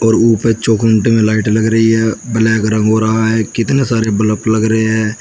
रोप में चौखुंडे वाली लाइट लगी हैं ब्लैक रंग हो रहा है कितने सारे बलफ़ लग रहे हैं।